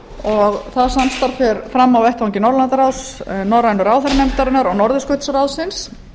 og það samstarf fer fram á vettvangi norðurlandaráðs norrænu ráðherranefndarinnar og norðurskautsráðsins